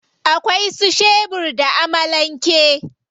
Akwai su shebur da amalan ke.